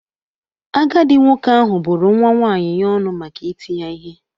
Agadi nwoke ahụ bụ́ru nwa nwaanyị ya ọnụ maka iti ya ihe.